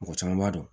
Mɔgɔ caman b'a dɔn